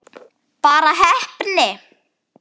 Bara heppni?